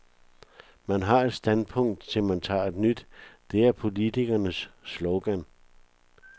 Man har et standpunkt til man tager et nyt, det er politikerens slogan.